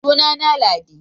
suna na na Ladi